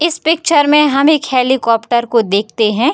इस पिक्चर में हम एक हेलीकॉप्टर को देखते हैं।